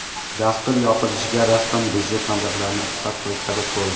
Dastur yopilishiga rasman budjet mablag‘larini iqtisod qilish sabab bo‘ldi.